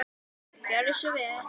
Gjörðu svo vel.